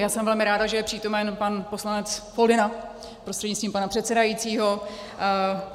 Já jsem velmi ráda, že je přítomen pan poslanec Foldyna prostřednictvím pana předsedajícího.